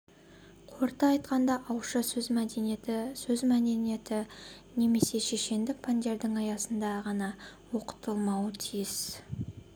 қорыта айтқанда ауызша сөз мәдениеті сөз мәдениеті немесе шешендік пәндерінің аясында ғанаоқытылмауы тиіс